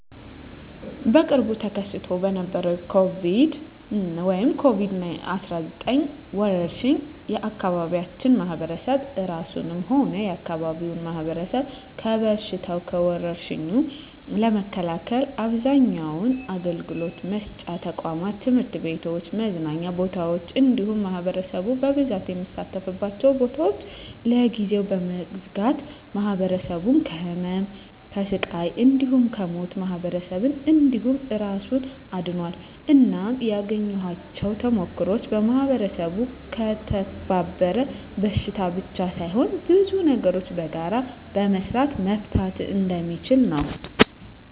በቅርቡ ተከስቶ በነበረዉ በኮሮና(ኮቪድ 19) ወረርሽ የአካባቢያችን ማህበረሰብ እራሱንም ሆነ የአካባቢውን ማህበረሰብ ከበሽታዉ (ከወርሽኙ) ለመከላከል አብዛኛዉን አገልግሎት መስጫ ተቋማት(ትምህርት ቤቶችን፣ መዝናኛ ቦታወችን እንዲሁም ማህበረሰቡ በብዛት የሚሰበሰብባቸዉን ቦታወች) ለጊዜዉ በመዝጋት ማህበረሰቡን ከህመም፣ ከስቃይ እንዲሁም ከሞት ማህበረሰብን እንዲሁም እራሱን አድኗል። እናም ያገኘኋቸዉ ተሞክሮወች ማህበረሰቡ ከተባበረ በሽታን ብቻ ሳይሆን ብዙ ነገሮችን በጋራ በመስራት መፍታት እንደሚችል ነዉ።